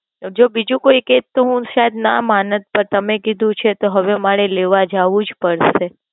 જો બીજું કોઈ કેટ તો હું સાયેદ ના માનત પર તમે કીધું છે તો હવે મારે લેવા જાવું જ પડશે.